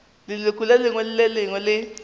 leloko le lengwe le le